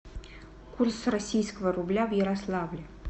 курс российского рубля в ярославле